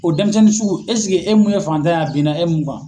O denmisɛnnin sugu esike e mun ye faantan ye a binna e mun kan.